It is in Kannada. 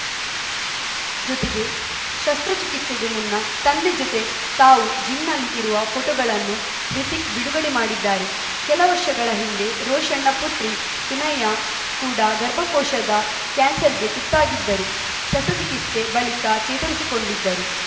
ಜೊತೆಗೆ ಶಸ್ತ್ರಚಿಕಿಸ್ತೆಗೂ ಮುನ್ನ ತಂದೆ ಜೊತೆ ತಾವು ಜಿಮ್‌ನಲ್ಲಿ ಇರುವ ಫೋಟೋಗಳನ್ನು ಹೃತಿಕ್‌ ಬಿಡುಗಡೆ ಮಾಡಿದ್ದಾರೆ ಕೆಲ ವರ್ಷಗಳ ಹಿಂದೆ ರೋಷನ್‌ನ ಪುತ್ರಿ ಸುನೈ ಕೂಡಾ ಗರ್ಭಕೋಶದ ಕ್ಯಾನ್ಸರ್‌ಗೆ ತುತ್ತಾಗಿದ್ದರು ಶಸ್ತ್ರಚಿಕಿಸ್ತೆ ಬಳಿಕ ಚೇತರಿಸಿಕೊಂಡಿದ್ದರು